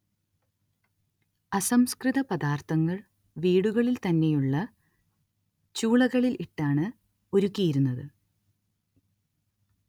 അസംസ്കൃത പദാർത്ഥങ്ങൾ വീടുകളിൽ തന്നെയുള്ള ചൂളകളിൽ ഇട്ടാണ് ഉരുക്കിയിരുന്നത്